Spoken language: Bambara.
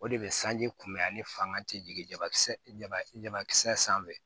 O de bɛ sanji kunbɛn a ni fanga tɛ jigin jabakisɛba kisɛ sanfɛ